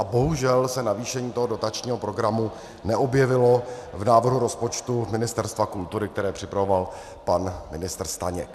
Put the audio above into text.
A bohužel se navýšení toho dotačního programu neobjevilo v návrhu rozpočtu Ministerstva kultury, který připravoval pan ministr Staněk.